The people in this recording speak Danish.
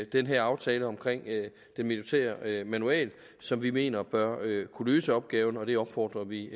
den her aftale om den militære manual som vi mener bør kunne løse opgaven og det opfordrer vi